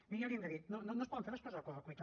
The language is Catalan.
miri ja l’hi hem dit no es poden fer les coses a correcuita